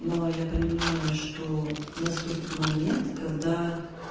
но я понимаю что наступит момент когда